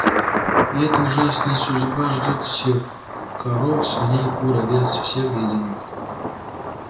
и эта ужасная судьба ждёт всех коров свиней кур овец всех до единого